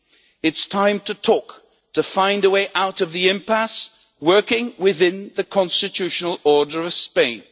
It is time to talk, to find a way out of the impasse, while working within the constitutional order of Spain.